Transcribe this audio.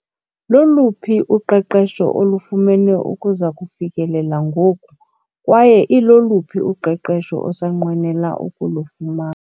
Loluphi uqeqesho olufumene ukuza kufikelela ngoku kwaye iloluphi uqeqesho osanqwenela ukulufumana?